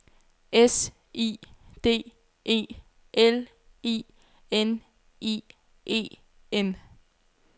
S I D E L I N I E N